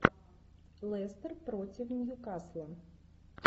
лестер против ньюкасла